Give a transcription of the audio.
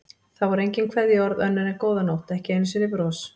Það voru engin kveðjuorð önnur en góða nótt, ekki einu sinni bros.